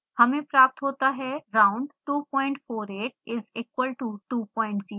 हमें प्राप्त होता है round 248 is equal to 20